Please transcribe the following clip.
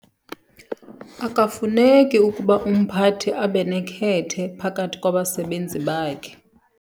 Akafuneki ukuba umphathi abe nekhethe phakathi kwabasebenzi bakhe.